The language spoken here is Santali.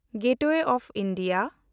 gateway of India